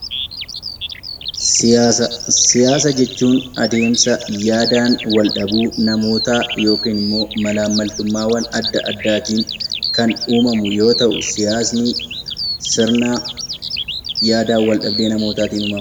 Siyaasa Siyaasa jechuun adeemsa yaadaan wal dhabuu namootaa yookiin immoo malaammaltummaawwan adda addaa tiin kan uumamu yoo ta'u, siyaasni sirna yaadaan wal dhabdee namootaatiin uumama.